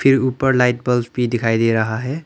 जो ऊपर light bulb भी दिखाई दे रहा है।